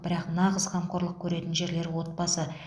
бірақ нағыз қамқорлық көретін жерлері отбасы